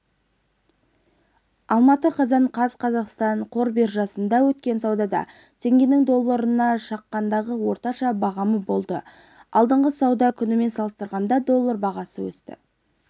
алматы қазан қаз қазақстан қор биржасында өткен саудада теңгенің долларына шаққандағы орташа бағамы болды алдыңғы сауда күнімен салыстырғанда доллар бағасы өсті